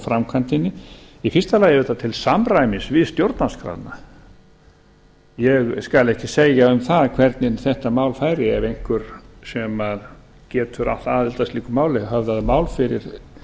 framkvæmdinni í fyrsta lagi til samræmis við stjórnarskrána ég skal ekki segja um það hvernig þetta mál færi ef einhver sem getur átt aðild að slíku máli höfðað mál fyrir